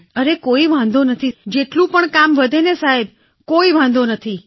અરે કોઈ વાંધો નથી જેટલું પણ કામ વધે સાહેબ કોઈ વાંધો નથી